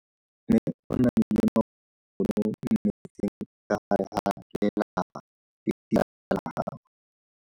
Mme o namile maoto mo mmetseng ka fa gare ga lelapa le ditsala tsa gagwe.